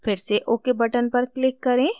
फिर से ok button पर click करें